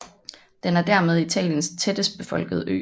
Den er dermed Italiens tættest befolkede ø